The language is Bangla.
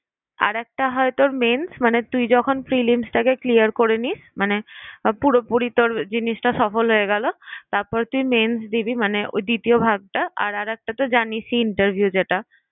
আরেকটা হয় তোর mains মানে তুই যখন prilims কে clear করে নিস মানে পুরোপুরি তোর জিনিসটা সফল হয়ে গেল, তারপরে তুই mains মানে ওই দ্বিতীয় ভাগ টা, আর আরেকটা তো জানিসই interview যেটা।